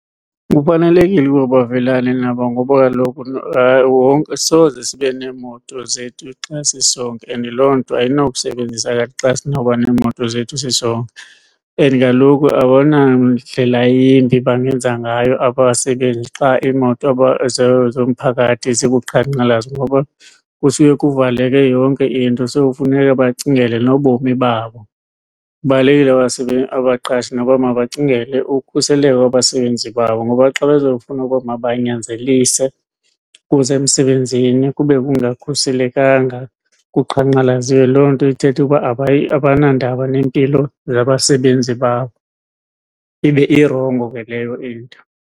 Kufanelekile uba bavelana nabo ngoba kaloku soze sibe neemoto zethu xa sisonke and loo nto ayinakusebenziseka xa sinoba neemoto zethu sisonke. And kaloku abanandlela yimbi bangenza ngayo abasebenzi xa imoto zomphakathi zikuqhankqalazo ngoba kufike kuvaleke yonke into so kufuneka bacingele nobomi babo. Kubalulekile abaqashi nabo mabacingele ukhuseleko lwabasebenzi babo ngoba xa bezofuna ukoba mabanyanzelise kusemsebenzini kube kungakhuselekanga kuqhankqalaziwe, loo nto ithetha ukuba abanandaba nempilo zabasebenzi babo ibe irongo ke leyo into.